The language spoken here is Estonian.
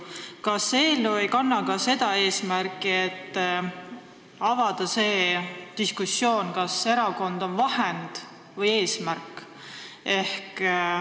Kas see eelnõu ei kanna mitte ka seda eesmärki, et tekiks diskussioon selle üle, kas erakond on vahend või eesmärk?